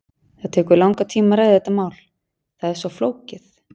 Það tekur langan tíma að ræða þetta mál, það er svo flókið.